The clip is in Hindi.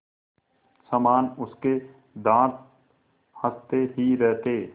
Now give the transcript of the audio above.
समान उसके दाँत हँसते ही रहते